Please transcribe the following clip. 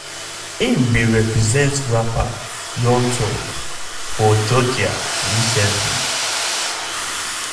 im bin represent rapper young thug for georgia recently.